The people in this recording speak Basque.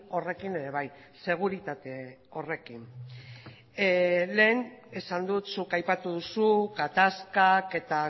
horrekin ere bai seguritate horrekin lehen esan dut zuk aipatu duzu gatazkak eta